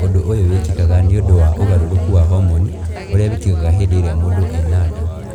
Ũndũ ũyũ wĩkĩkaga nĩ ũndũ wa ũgarũrũku wa homoni ũrĩa wĩkĩkaga hĩndĩ ĩrĩa mũndũ arĩ na nda.